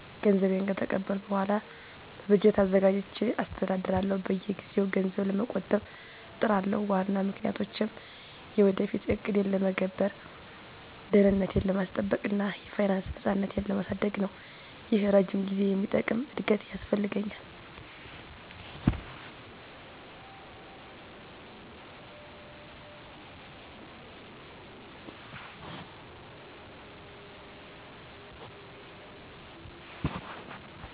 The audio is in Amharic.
ገንዘቤን ከተቀበልኩ በኋላ በበጀት አዘጋጅቼ አስተዳድራለሁ። በየጊዜው ገንዘብ ለመቆጠብ እጥራለሁ፣ ዋና ምክንያቶቼም የወደፊት ዕቅዴን ለመገበር፣ ደህንነቴን ለማስጠበቅ እና የፋይናንስ ነፃነቴን ለማሳደግ ነው። ይህ ረጅም ጊዜ የሚጠቅም እድገት ያስፈልገኛል።